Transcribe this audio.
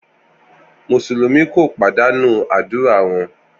Musulumi ko padanu adura wọn